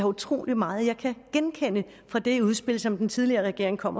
utrolig meget jeg kan genkende fra det udspil som den tidligere regering kom